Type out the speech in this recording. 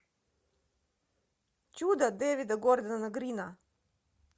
чудо девида гордона грина